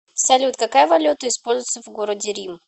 салют какая валюта используется в городе рим